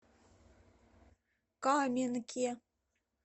каменке